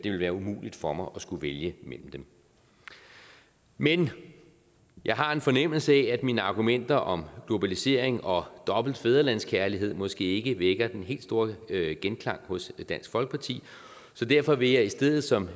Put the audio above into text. være umuligt for mig at skulle vælge mellem dem men jeg har en fornemmelse af at mine argumenter om globalisering og dobbelt fædrelandskærlighed måske ikke vækker den helt store genklang hos dansk folkeparti så derfor vil jeg i stedet som